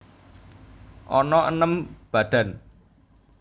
Ana enem badan